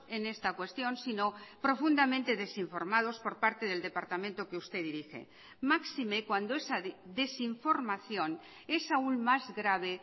en esta cuestión sino profundamente desinformados por parte del departamento que usted dirige máxime cuando esa desinformación es aún más grave